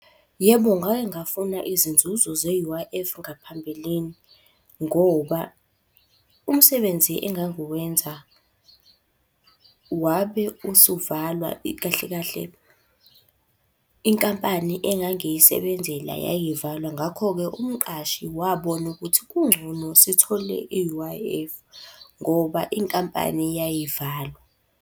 Yebo ngake ngafuna izinzuzo ze-U_I_F ngaphambilini ngoba, umsebenzi engangiwenza wabe usuvalwa kahle kahle inkampani engangiyisebenzela yayivalwa ngakho-ke umqashi wabona ukuthi kungcono sithole i-U_I_F ngoba inkampani yayivalwa.